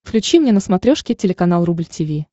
включи мне на смотрешке телеканал рубль ти ви